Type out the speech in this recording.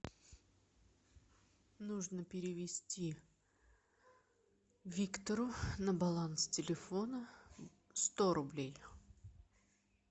нужно перевести виктору на баланс телефона сто рублей